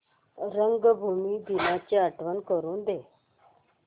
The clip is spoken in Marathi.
रंगभूमी दिनाची आठवण करून दे